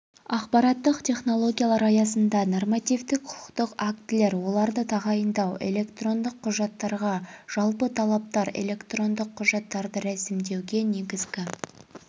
ақпараттық технологиялар аясында нормативтік құқықтық актілерді тағайындауды және электрондық құжаттарға жалпы талаптарды түсіндіреді